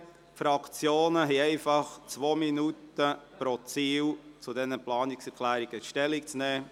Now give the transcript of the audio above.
Die Fraktionen haben zwei Minuten pro Ziel, um zu diesen Planungserklärungen Stellung zu nehmen.